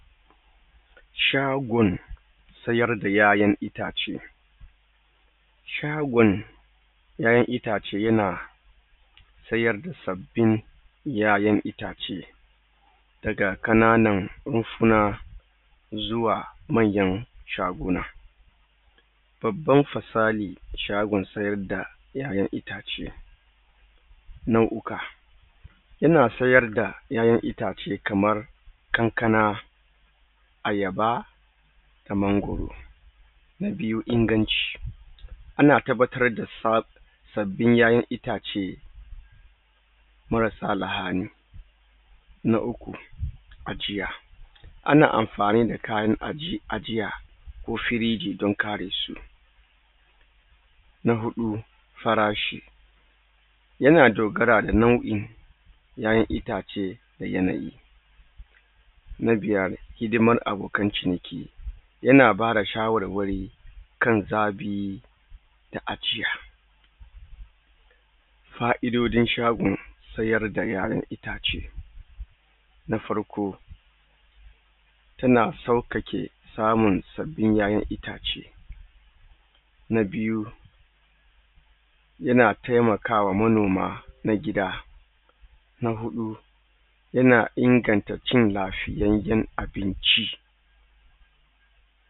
Shagon sayar da YaYan itace shagon YaYan itace yana tayar da sabbin YaYan itace daga ƙananan rumfuna zuwa manyan shaguna baban fasali shagon siyarda YaYan itace nau uka ina sayarda YaYan itace kamar kankana ayaba mangwaro na biyu inganci ana tabbatar da sa babbin YaYan itace marasa lahali na uku ajiya ana amfani da kayan ajiya lo firiji da karesu na huɗu farashi yana dogara da nau in YaYan itace da yanayi na biyar hidiman abokan ciniki yana bada sha warwari kan zaɓi da ajiya fa'idodin shagon taradda yaran itace na farko tana sauƙaƙe samun sabbin YaYan itace na biyu yana temakawa monoma na gida na huɗu yana inganta cin lafiyayyen abinci